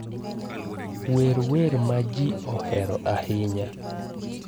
wer wer ma ji ohero ahinya